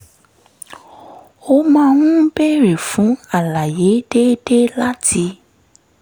ó máa ń béèrè fún àlàyé déédéé láti